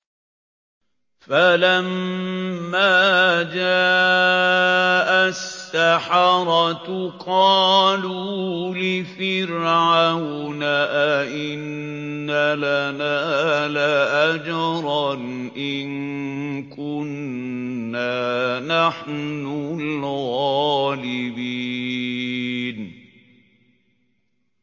فَلَمَّا جَاءَ السَّحَرَةُ قَالُوا لِفِرْعَوْنَ أَئِنَّ لَنَا لَأَجْرًا إِن كُنَّا نَحْنُ الْغَالِبِينَ